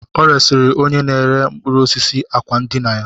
O resịrị onye na-ere mkpụrụ osisi àkwá ndina ya